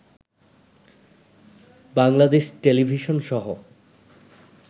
Bangladesh টেলিভিশনসহ